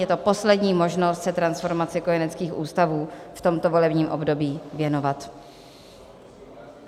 Je to poslední možnost se transformaci kojeneckých ústavů v tomto volebním období věnovat.